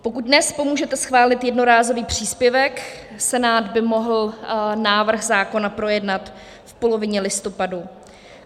Pokud dnes pomůžete schválit jednorázový příspěvek, Senát by mohl návrh zákona projednat v polovině listopadu.